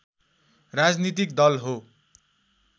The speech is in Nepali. राजनीतिक दल हो